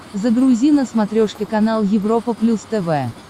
загрузи на смотрешке канал европа плюс тв